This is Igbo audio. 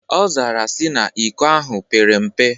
Ọ zara ya sị na iko ahụ pere mpe.